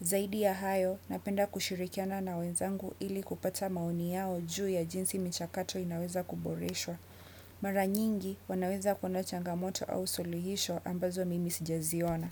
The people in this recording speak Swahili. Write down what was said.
Zaidi ya hayo, napenda kushirikiana na wenzangu ili kupata maoni yao juu ya jinsi michakato inaweza kuboreshwa. Maranyingi, wanaweza kuona changamoto au suluhisho ambazo mimi sijaziona.